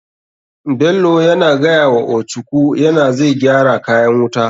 Bello yana gayawa ochuku yana zai gyara kayan wuta.